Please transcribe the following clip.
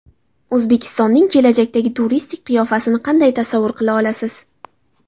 O‘zbekistonning kelajakdagi turistik qiyofasini qanday tasavvur qila olasiz?